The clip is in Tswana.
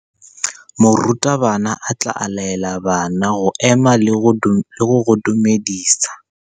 Morutabana o tla laela bana go ema le go go dumedisa.